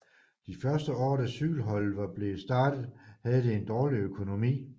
De første år da cykelholdet var blevet startet havde det en dårlig økonomi